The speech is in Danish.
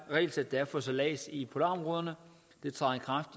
regelsæt der er for sejlads i polarområderne det træder i kraft